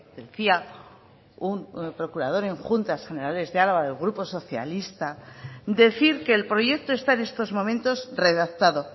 decía un procurador en juntas generales de álava del grupo socialista decir que el proyecto está en estos momentos redactado